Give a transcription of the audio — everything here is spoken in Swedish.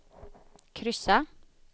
kryssa